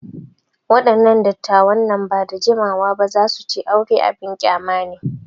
Waɗannan dattawan nan ba da jimawa ba za su ce aure abin ƙyama ne.